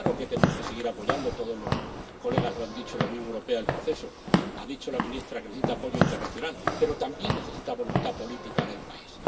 Claro que tenemos que seguir apoyando —todos los diputados lo han dicho— en la Unión Europea el proceso. Ha dicho la ministra que necesita apoyo internacional, pero también necesita voluntad política en el país